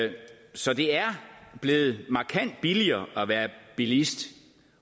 så det er blevet markant billigere at være bilist